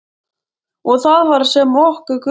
Og það var sem okkur grunaði.